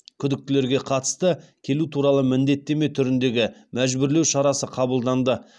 күдіктілерге қатысты келу туралы міндеттеме түріндегі мәжбүрлеу шарасы қабылданды